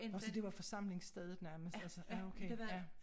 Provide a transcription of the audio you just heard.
Nåh så det var forsamlingsstedet nærmest altså ja okay ja